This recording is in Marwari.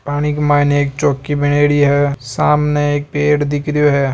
पानी के मायने एक चौकी बनेडि है सामने एक पेड़ दिख रो है।